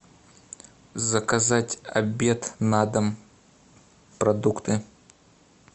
заказать обед на дом продукты